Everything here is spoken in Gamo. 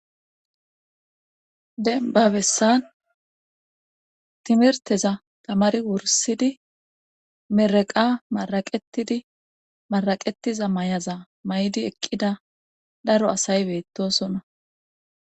denbabessan timerteza tamari wursidi mereqa maraqetidi maraqetiza may7aza maydi eqqida daro asay beettosonna